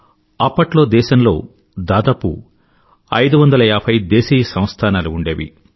అప్పట్లో దేశంలో దాదాపు 550 దేశీయ సంస్థానాలు ఉండేవి